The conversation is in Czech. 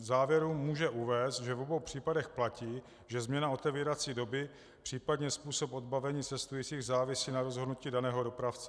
V závěru může uvést, že v obou případech platí, že změna otevírací doby, případně způsob odbavení cestujících závisí na rozhodnutí daného dopravce.